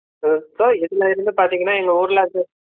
உம் இதுல இருந்து பாத்தீங்கன்னா எங்க ஊர்லாக்கு